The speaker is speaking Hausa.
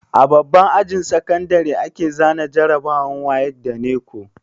A babban ajin sakandare ake zana jarabawar wayek da neco